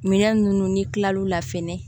Minɛn ninnu ni kilal'u la fɛnɛ